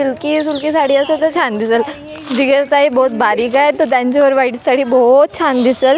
Silkie ही तुमची साडी आहे तर बहुत छान दिसेल जिगर ताई बहुत बारीक आहे तर त्यांयच्या वर व्हाईट साडी बहुत छान दिसेल .